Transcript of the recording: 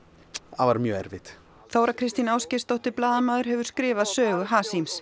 það var mjög erfitt Þóra Kristín Ásgeirsdóttir blaðamaður hefur skrifað sögu